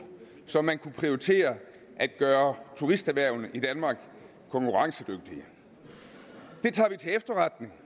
så man kunne prioritere det at gøre turisterhvervene i danmark konkurrencedygtige vi tager til efterretning